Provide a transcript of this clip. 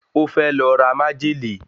Ó fẹ́ lọ ra májèlé